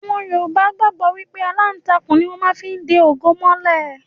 Yorùbá gbàgbọ́ wípé aláǹtakùn ni wón má fí ń de ògo mọ́lẹ̀